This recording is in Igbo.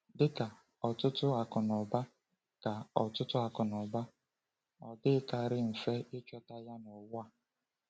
Dị ka ọtụtụ akụnụba, ka ọtụtụ akụnụba, ọ dịghịkarị mfe ịchọta ya n’ụwa a.